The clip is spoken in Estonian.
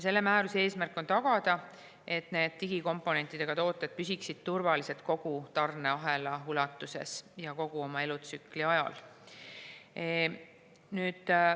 Selle määruse eesmärk on tagada, et digikomponentidega tooted püsiksid turvalised kogu tarneahela ulatuses ja kogu oma elutsükli ajal.